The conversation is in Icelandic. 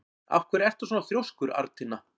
Af hverju ertu svona þrjóskur, Arntinna?